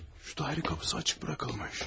Şu dairə qapısı açıq buraxılmış.